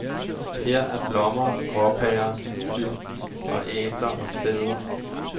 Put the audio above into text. Her er blommer, gråpærer, hyld og æbler og kvæder.